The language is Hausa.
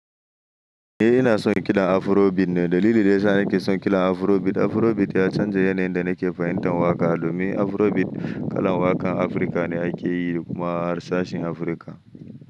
Eh ina son kiɗan Afrobeat ne, dalilin da yasa nake son kiɗan Afrobeat, Afrobeat ya canza yanayin da nake fahimtar waƙa. Domin Afrobeat kalan waƙan Afirka ne aka yi kuma harshen Afirka.